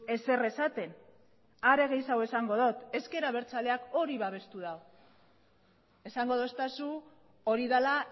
ezer esaten are gehiago esango dut ezker abertzaleak hori babestu du esango didazu hori dela